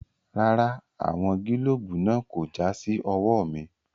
Rárá, àwọn gílóòbù náà kò já sí ọwọ́ mi.